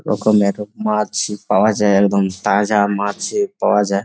রকমের মাছ পাওয়া যায় একদম তাজা মাছ এ পাওয়া যায়।